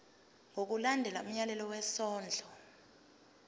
ngokulandela umyalelo wesondlo